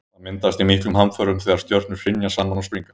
það myndast í miklum hamförum þegar stjörnur hrynja saman og springa